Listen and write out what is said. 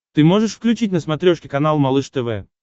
ты можешь включить на смотрешке канал малыш тв